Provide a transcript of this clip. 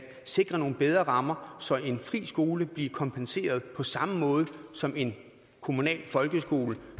sikre nogle bedre rammer så en fri skole blev kompenseret på samme måde som en kommunal folkeskole